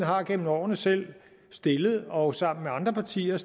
har gennem årene selv og sammen med andre partier